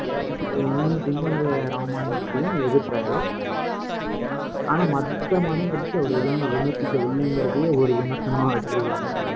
இப்ப ஆஹ் இந்~ இந்து மத இராமாயணத்தையும் எதிர்த்தாரு. ஆனா, மத்த மதங்களுக்கு, அவர் எதையுமே விமர்சிக்கவில்லைங்கிறதையே ஒரு விமர்சனமா வச்சிருக்காங்க.